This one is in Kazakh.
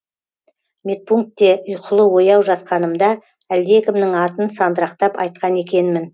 медпунктте ұйқылы ояу жатқанымда әлдекімнің атын сандырақтап айтқан екенмін